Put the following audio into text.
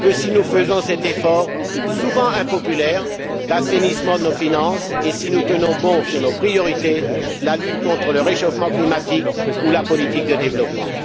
que si nous faisons cet effort, souvent impopulaire, d'assainissement de nos finances et si nous tenons bon sur nos priorités la lutte contre le réchauffement climatique ou la politique de développement.